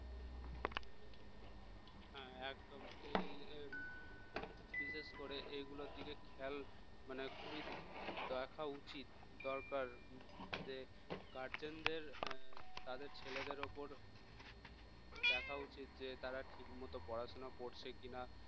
বিশেষ করে এগুলোর দিকে খেয়াল মানে খুবই দেখা উচিত দরকার যে guardian দের তাদের ছেলেদের উপর দেখা উচিত যে তারা ঠিকমতো পড়াশোনা করছে কিনা